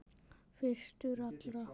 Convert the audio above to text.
Fyrstur allra.